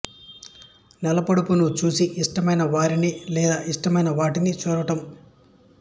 నెలపొడుపును చూసి ఇష్టమైన వారిని లేదా ఇష్టమైన వాటిని చూడటం